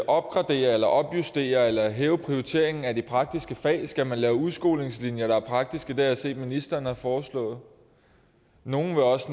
opgradere eller opjustere eller hæve prioriteringen af de praktiske fag skal man lave udskolingslinjer der er praktiske det har jeg set ministeren har foreslået nogle vil også